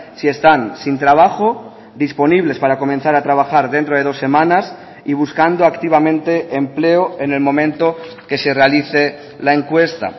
si están sin trabajo disponibles para comenzar a trabajar dentro de dos semanas y buscando activamente empleo en el momento que se realice la encuesta